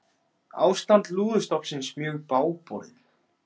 Ástand lúðustofnsins mjög bágborið